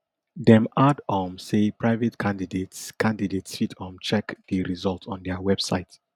dem add um say private candidates candidates fit um check di result on dia website